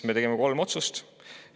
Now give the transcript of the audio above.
Me tegime kolm otsust.